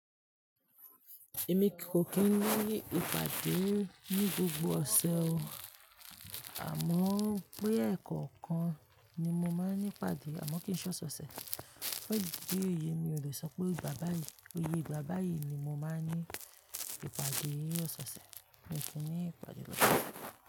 Èmi kò kí ń ní ìpàdé ní gbogbo ọ̀sẹ̀ o, àmọ́ pé ẹ̀ẹ̀kọ̀kan ni mo máa ń ní ìpàdé àmọ́ kí n sọ sọ̀sẹ̀. Pé bí èyí mi o le sọ pé ìgbà báyìí, pe iye ìgbà báyìí ni mo máa ń ní ìpàdé ọ̀soosẹ̀, mo sì ní ìpàdé lọ́sẹ̀